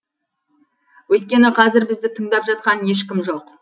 өйткені қазір бізді тыңдап жатқан ешкім жоқ